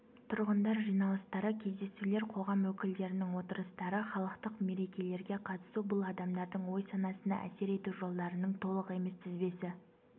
тұрңындар жиналыстары кездесулер қоғам өкілдерінің отырыстары халықтық мерекелерге қатысу бұл адамдардың ой-санасына әсер ету жолдарының толық емес тізбесі